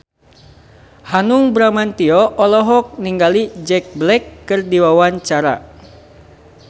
Hanung Bramantyo olohok ningali Jack Black keur diwawancara